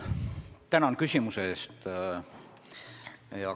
Tänan küsimuse eest!